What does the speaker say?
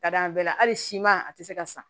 Ka d'a bɛɛ la hali siman a tɛ se ka san